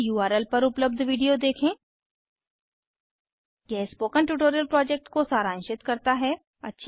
इस उर्ल पर उपलब्ध वीडियो देखेंhttpspoken tutorialorgWhat is a Spoken tutorial यह स्पोकन ट्युटोरियल प्रोजेक्ट को सारांशित करता है